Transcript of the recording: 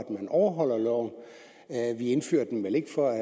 overholde loven vi indfører dem vel ikke for at